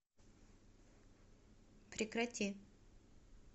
прекрати